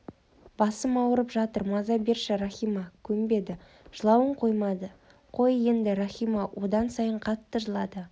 басым ауырып жатыр маза берші рахима көнбеді жылауын қоймады қой еңді қоймады одан сайын қатты жылады